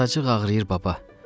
Azacıq ağrıyır baba.